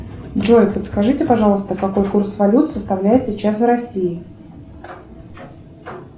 джой подскажите пожалуйста какой курс валют составляет сейчас в россии